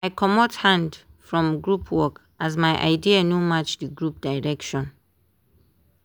i comot hand from group work as my idea no match di group direction.